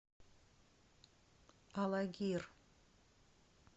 алагир